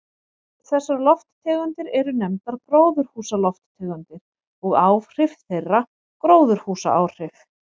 Þessar lofttegundir eru nefndar gróðurhúsalofttegundir og áhrif þeirra gróðurhúsaáhrif.